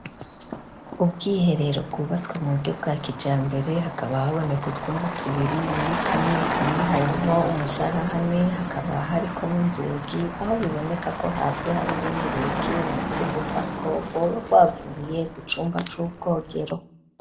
Ubwiherero bwubatswe mu buryo bwa kijambere hakaba haboneka utwumba tubiri muri kamwe kamwe harimwo umusarani hakaba hariko n'inzugi aho biboneka ko hasi hari urundi rugi rumaze kuvako rwoba rwavuye ku cumba c'ubwogero